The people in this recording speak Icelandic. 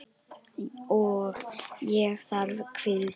Og ég þarf hvíld.